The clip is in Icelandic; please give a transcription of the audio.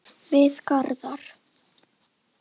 Við Garðar